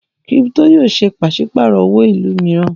Kírípítò yòó ṣe pàṣípàrọ̀ owó ìlú mìíràn.